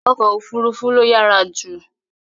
Ọkọ òfuurufú ló yára jù